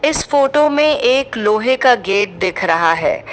इस फोटो में एक लोहे का गेट दिख रहा है।